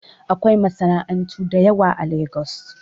Akwai masana'antu da yawa a Lagos